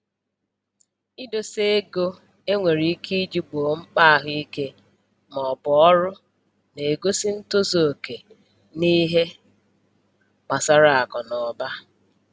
Idosa ego e nwere ike iji gboo mkpa ahụike maọbụ ọrụ na-egosi ntozu oke n'ihe gbasara akụnụba